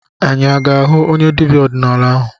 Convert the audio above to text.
Anyị aga-ahụ onye dibịa ọdịnala ahụ?